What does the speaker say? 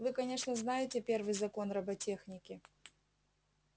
вы конечно знаете первый закон роботехники